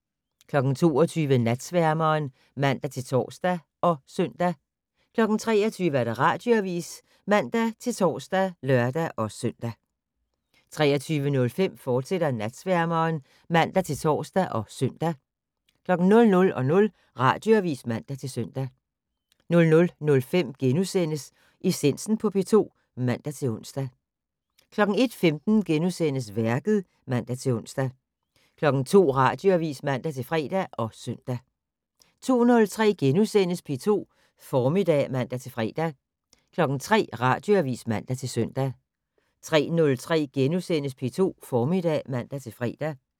22:00: Natsværmeren (man-tor og søn) 23:00: Radioavis (man-tor og lør-søn) 23:05: Natsværmeren, fortsat (man-tor og søn) 00:00: Radioavis (man-søn) 00:05: Essensen på P2 *(man-ons) 01:15: Værket *(man-ons) 02:00: Radioavis (man-fre og søn) 02:03: P2 Formiddag *(man-fre) 03:00: Radioavis (man-søn) 03:03: P2 Formiddag *(man-fre)